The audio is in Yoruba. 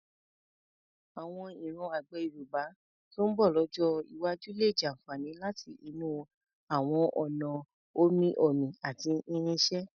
Àwọn ìran àgbẹ̀ Yorùbá tó ń bọ̀ lọ́jọ́ iwájú lè jàfààní láti inú àwọn ọ̀nà omi-omi àti irinṣẹ́.